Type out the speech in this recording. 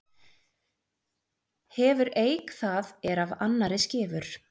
Hefur eik það er af annarri skefur.